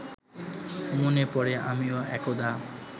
মনে পড়ে আমিও একদা